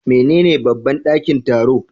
Menene babban ɗakin taro?